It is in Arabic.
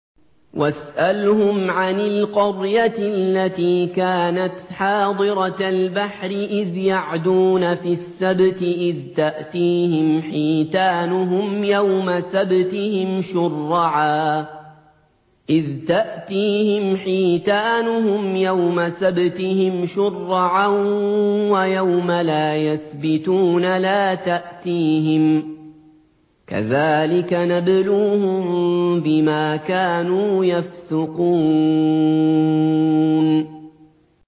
وَاسْأَلْهُمْ عَنِ الْقَرْيَةِ الَّتِي كَانَتْ حَاضِرَةَ الْبَحْرِ إِذْ يَعْدُونَ فِي السَّبْتِ إِذْ تَأْتِيهِمْ حِيتَانُهُمْ يَوْمَ سَبْتِهِمْ شُرَّعًا وَيَوْمَ لَا يَسْبِتُونَ ۙ لَا تَأْتِيهِمْ ۚ كَذَٰلِكَ نَبْلُوهُم بِمَا كَانُوا يَفْسُقُونَ